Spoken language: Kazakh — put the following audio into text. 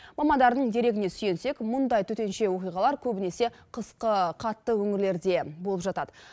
мамандардың дерегіне сүйенсек мұндай төтенше оқиғалар көбінесе қысқы қатты өңірлерде болып жатады